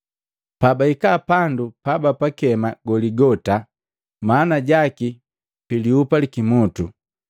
Pabahika pandu pabapakema Goligota maana jaki pandu pi Lihupa li Kimutu,